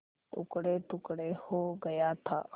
टुकड़ेटुकड़े हो गया था